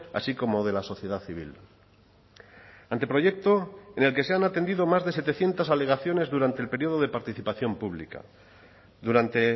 así como de la sociedad civil anteproyecto en el que se han atendido más de setecientos alegaciones durante el periodo de participación pública durante